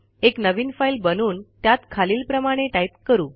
एक नवीन फाईल बनवून त्यात खालीलप्रमाणे टाईप करू